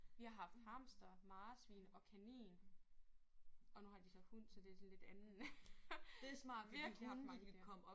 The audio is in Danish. Vi har haft hamster marsvin og kanin og nu har de så hund så det sådan lidt anden. Virkelig haft mange dyr